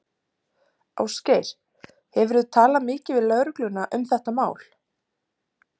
Ásgeir: Hefurðu talað mikið við lögregluna um þetta mál?